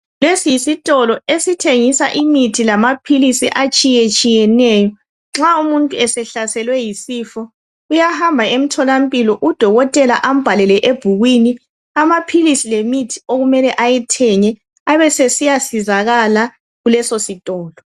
Lesi yisitolo esithengisa imithi lamaphilisi atshiyetshiyeneyo nxa umuntu esehlaselwe yisifo uyahamba emtholampilo uDokotela ambhalele ebhukwini amaphilisi lemithi okumele ayithenge abesesiyasizakala kulesositolo.